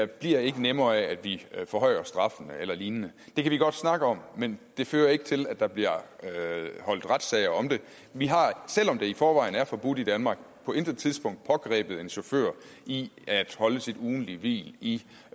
bliver ikke nemmere af at vi forhøjer straffen eller lignende det kan vi godt snakke om men det fører ikke til at der bliver holdt retssager om det vi har selv om det i forvejen er forbudt i danmark på intet tidspunkt pågrebet en chauffør i at holde sit ugentlige hvil i